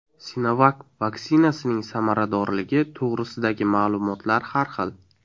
Sinovac vaksinasining samaradorligi to‘g‘risidagi ma’lumotlar har xil.